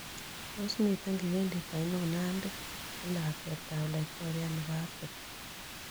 Tos' miten kipindit ainon nandi, ne lakwetap laitoriat ne po africa